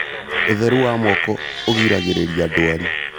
Ũtheru wa moko ũgiragĩriria ndwari